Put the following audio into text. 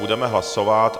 Budeme hlasovat...